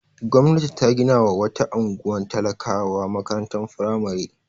Gwamnati ta ginawa wata unguwar talakawa makarantar firamare.